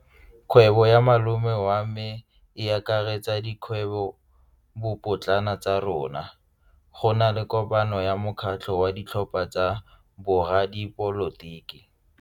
Kgwebo ya malome wa me e akaretsa dikgwebopotlana tsa rona. Go na le kopano ya mokgatlho wa ditlhopha tsa boradipolotiki.